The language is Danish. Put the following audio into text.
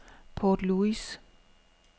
Port Louis